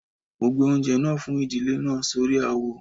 Mo gbé oúnjẹ náà fún ìdílé náà sórí àwo